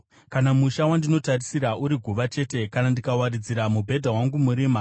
Kana musha wandinotarisira uri guva chete, kana ndikawaridzira mubhedha wangu murima,